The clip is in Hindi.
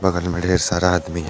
बगल में ढेर सारा आदमी है।